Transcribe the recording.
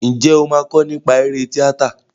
Ǹjẹ́ o máa kọ nípa eré tíátà?